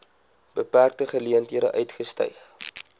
beperkte geleenthede uitgestyg